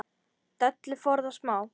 Dellu forðast má.